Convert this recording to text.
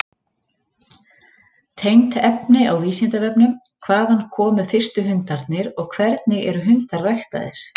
Tengt efni á Vísindavefnum: Hvaðan komu fyrstu hundarnir og hvernig eru hundar ræktaðir?